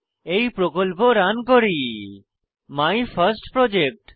এই প্রকল্প রান করি মাইফার্স্টপ্রজেক্ট